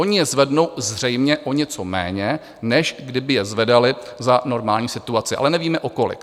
Oni je zvednou zřejmě o něco méně, než kdyby je zvedali za normální situace, ale nevíme o kolik.